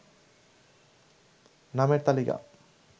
নামের তালিকা